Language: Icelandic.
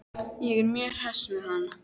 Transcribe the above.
Ég er mjög hress með hann.